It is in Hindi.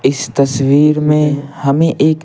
इस तस्वीर में हमें एक --